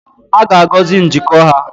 A ga-agọzi njikọ ha